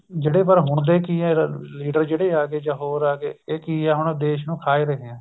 ਜਿਹੜੇ ਪਰ ਹੁਣ ਦੇ ਕੀ ਆ ਲੀਡਰ ਜਿਹੜੇ ਆ ਗਏ ਜਾਂ ਹੋਰ ਆ ਗਏ ਇਹ ਕੀ ਹੈ ਹੁਣ ਦੇਸ਼ ਨੂੰ ਖਾ ਏ ਰਹੇ ਏ